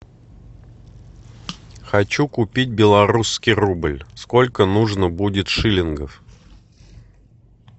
хочу купить белорусский рубль сколько нужно будет шиллингов